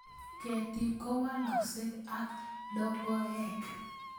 Ketik kowalakse ak logoek